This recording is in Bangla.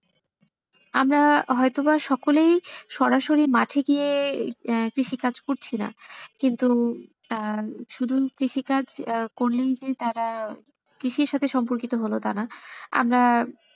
আমরা হয়তো বা সকলেই সরাসরি মাঠে গিয়ে আহ কৃষি কাজ করছে না কিন্তু আহ শুধু কৃষি কাজ আহ করলেই যে তারা কৃষির সাথে সম্পর্কিত হলো তাই না আমরা,